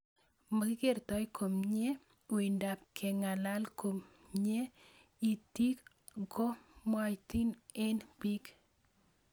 makikertoi komie, uindop keng'alal ,kominy itik ko mwaatin eng' pik